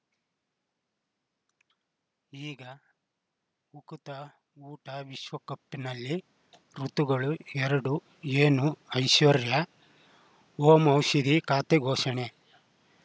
ಈಗ ಉಕುತ ಊಟ ವಿಶ್ವಕಪ್‌ನಲ್ಲಿ ಋತುಗಳು ಎರಡು ಏನು ಐಶ್ವರ್ಯಾ ಓಂ ಔಷಧಿ ಖಾತೆ ಘೋಷಣೆ